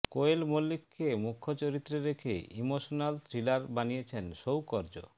কোয়েল মল্লিককে মুখ্য চরিত্রে রেখে ইমোশনাল থ্রিলার বানিয়েছেন সৌকর্য